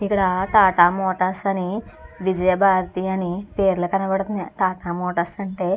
ఇక్కడ టాటా మోటార్స్ అని విజయభారతి అని పేర్లు కనబడుతున్నాయి. టాటా మోటార్స్ అంటే--